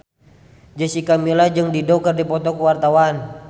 Jessica Milla jeung Dido keur dipoto ku wartawan